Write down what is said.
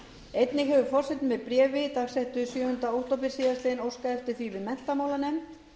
einnig hefur forseti með bréfi dagsettu sjöunda október síðastliðinn óskað eftir því við menntamálanefnd